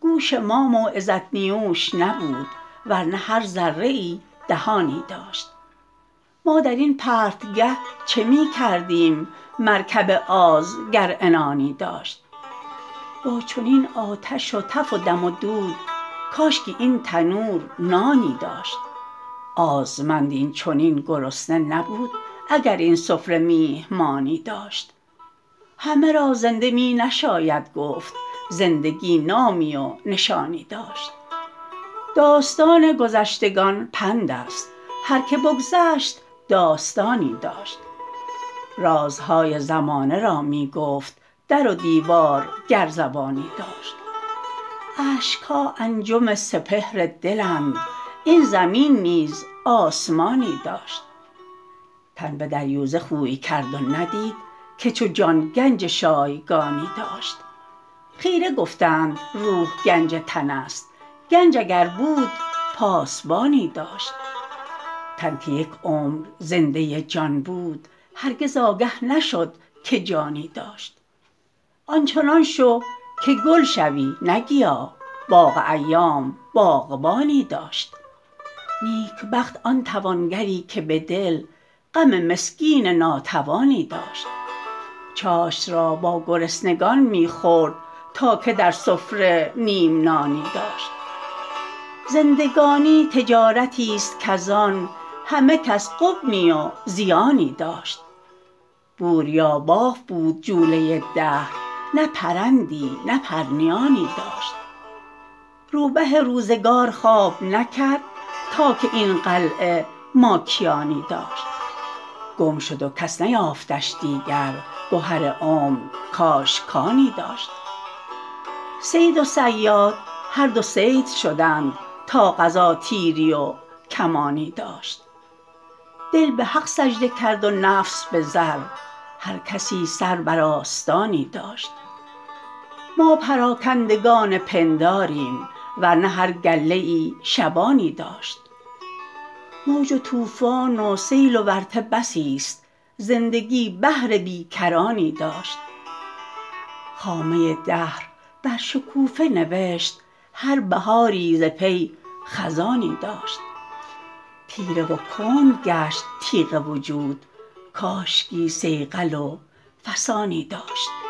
گوش ما موعظت نیوش نبود ورنه هر ذره ای دهانی داشت ما در این پرتگه چه میکردیم مرکب آز گر عنانی داشت با چنین آتش و تف و دم و دود کاشکی این تنور نانی داشت آزمند این چنین گرسنه نبود اگر این سفره میهمانی داشت همه را زنده می نشاید گفت زندگی نامی و نشانی داشت داستان گذشتگان پند است هر که بگذشت داستانی داشت رازهای زمانه را میگفت در و دیوار گر زبانی داشت اشکها انجم سپهر دلند این زمین نیز آسمانی داشت تن بدریوزه خوی کرد و ندید که چو جان گنج شایگانی داشت خیره گفتند روح گنج تن است گنج اگر بود پاسبانی داشت تن که یک عمر زنده جان بود هرگز آگه نشد که جانی داشت آنچنان شو که گل شوی نه گیاه باغ ایام باغبانی داشت نیکبخت آن توانگری که بدل غم مسکین ناتوانی داشت چاشت را با گرسنگان میخورد تا که در سفره نیم نانی داشت زندگانی تجارتی است کز آن همه کس غبنی و زیانی داشت بوریاباف بود جوله دهر نه پرندی نه پرنیانی داشت رو به روزگار خواب نکرد تا که این قلعه ماکیانی داشت گم شد و کس نیافتش دیگر گهر عمر کاش کانی داشت صید و صیاد هر دو صید شدند تا قضا تیری و کمانی داشت دل بحق سجده کرد و نفس بزر هر کسی سر بر آستانی داشت ما پراکندگان پنداریم ورنه هر گله ای شبانی داشت موج و طوفان و سیل و ورطه بسی است زندگی بحر بی کرانی داشت خامه دهر بر شکوفه نوشت هر بهاری ز پی خزانی داشت تیره و کند گشت تیغ وجود کاشکی صیقل و فسانی داشت